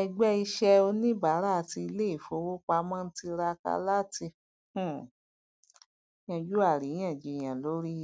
ẹgbẹ iṣẹ oníbàárà ti iléìfowópamọ ń tiraka láti um yanjú àríyáǹjiyàn lórí